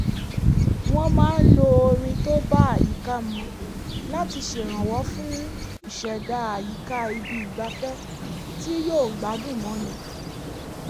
wọ́n máa ń lo orin tó bá àyíká mu láti ṣèrànwọ́ fún ìṣẹ̀dá àyíká ibi ìgbafẹ́ tí yóò gbádùn mọ́ni